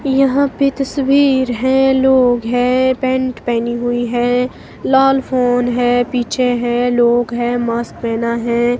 यहां पे तस्वीर है लोग है पेंट पहनी हुई है लाल फोन है पीछे हैं लोग है मास्क पहना है।